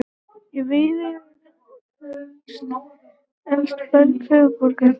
Í Viðey er eitt elsta berg höfuðborgarsvæðisins.